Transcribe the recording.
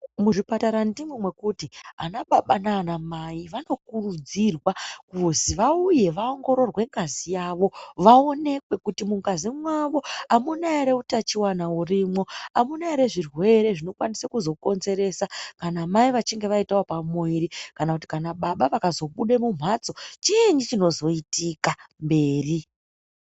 Muzvipatara ndimwo mwekuti anababa nanamai vanokurudzirwa kuzwi vauye vaongororwe ngazi yavo vaonekwe kuti mungazi mwavo hamuna here utachiwana urimwo, amuna here zvirwere zvinokwanisa kuzokonzeresa, kana mai vechinge vaitawo pamuviri, kana baba vakazobude mumhatso chiinyi chinozoitika mberi.